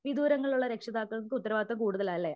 വിദൂരങ്ങളിൽ ഉള്ള രക്ഷിതാക്കൾക്ക് ഉത്തരവാദിത്വം കൂടുതലാലേ?